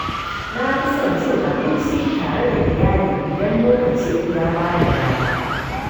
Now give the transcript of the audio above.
Na fi son cin abinci tare da iyali idan lokaci ya ba ni dama.